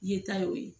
Ye ta y'o ye